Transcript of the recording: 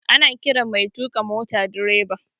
Ana ƙiran mai tuka mota direba